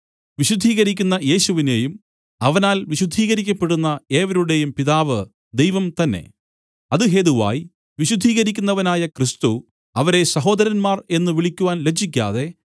വിശുദ്ധീകരിക്കുന്ന യേശുവിനേയും അവനാല്‍ വിശുദ്ധീകരിക്കപ്പെടുന്ന ഏവരുടെയും പിതാവ് ദൈവം തന്നെ അത് ഹേതുവായി വിശുദ്ധീകരിക്കുന്നവനായ ക്രിസ്തു അവരെ സഹോദരന്മാർ എന്നു വിളിക്കുവാൻ ലജ്ജിക്കാതെ